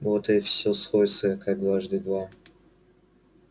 вот и всё сходится как дважды два